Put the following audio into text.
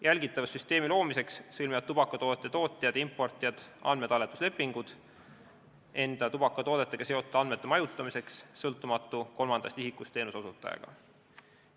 Jälgitavussüsteemi loomiseks sõlmivad tubakatoodete tootjad ja importijad andmetalletuslepingud sõltumatu kolmandast isikust teenuseosutajaga, et majutada enda tubakatoodetega seotud andmeid.